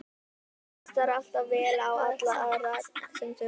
Hann hlustar alltaf vel á alla aðra sem þurfa að tala.